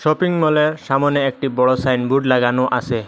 Shopping মলের সামোনে একটি বড় সাইন বোর্ড লাগানো আসে।